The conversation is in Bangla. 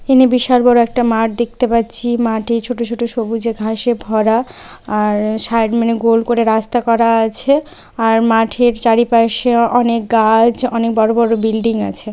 এখানে বিশাল বড়ো একটা মাঠ দেখতে পাচ্ছি। মাটি ছোট ছোট সবুজে ঘাসে ভরা। আর সারমনে গোল করে রাস্তা করা আছে আর মাঠের চারিপাশে অনেক গাছ অনেক বড় বড় বিল্ডিং আছে।